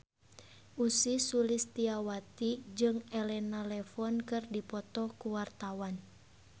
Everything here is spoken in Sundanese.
Ussy Sulistyawati jeung Elena Levon keur dipoto ku wartawan